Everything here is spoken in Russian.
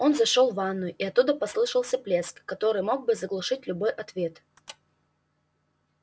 он зашёл в ванную и оттуда послышался плеск который мог бы заглушить любой ответ